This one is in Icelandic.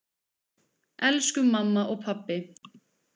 Elsku mamma og pabbi.